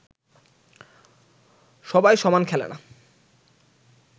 সবাই সমান খেলে না